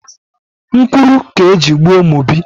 Nkwuru ka eji gbuo Mobi.